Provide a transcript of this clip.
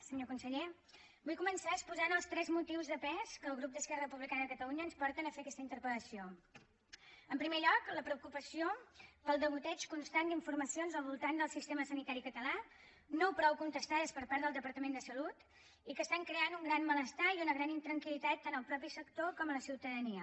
senyor conseller vull començar exposant els tres motius de pes que al grup d’esquerra republicana ens porten a fer aquesta interpelen primer lloc la preocupació pel degoteig constant d’informacions al voltant del sistema sanitari català no prou contestades per part del departament de salut i que estan creant un gran malestar i una gran intranquilnia